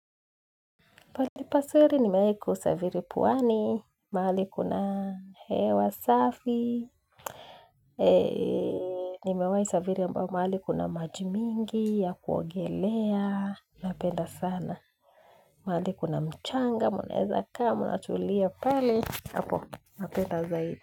Pahali pazuri ni meweku saviri puwani, maali kuna hewa safi, ni mahali saviri amba maali kuna majimingi, ya kuogelea, napenda sana. Mahali kuna mchanga, muneza kama, natulia pali, hapo, napenda zaidi.